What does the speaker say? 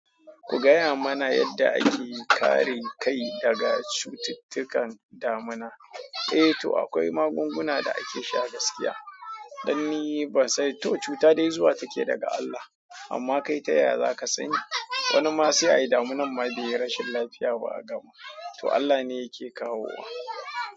Ku gaya mana yadda ake kare kai daga cututtukan damina. Eh to akwai magunguna da ake sha gaskiya. Dan ni ba sai to cuta dai zuwa take daga Allah. Amma kai ta yaya zaka sani wani ma sai ai damuna ma bai yi rashin lafiya ba a gama. To Allah ne yake kawo wa.